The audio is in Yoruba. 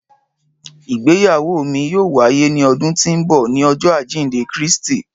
Ìgbéyáwọ́ mi yoo waye ni ọdun ti nbọ ni Ọjọ ajinde Kristi.